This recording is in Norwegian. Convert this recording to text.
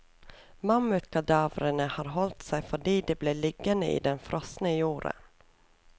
Mammutkadavrene har holdt seg fordi de ble liggende i den frosne jorden.